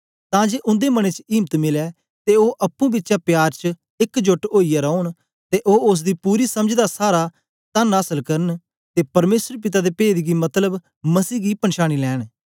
तां जे उन्दे मनें च इम्त मिलै ते ओ अप्पुं बिचें प्यार च एक जोट ओईयै रौन ते ओ ओसदी पूरी समझ दा सारा तन आसल करन ते परमेसर पिता दे पेद गी मतलब मसीह गी पंछांनी लैंन